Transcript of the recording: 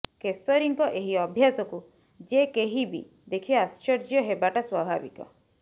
କେଶରୀଙ୍କ ଏହି ଅଭ୍ୟାସକୁ ଯେକେହିବି ଦେଖି ଆଶ୍ଚର୍ଯ୍ୟ ହେବାଟା ସ୍ବଭାବିକ